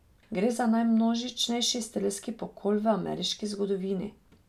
Gre za najmnožičnejši strelski pokol v ameriški zgodovini.